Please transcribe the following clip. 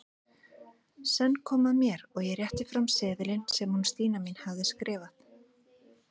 Senn kom að mér og ég rétti fram seðilinn sem hún Stína mín hafði skrifað.